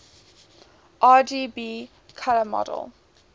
rgb color model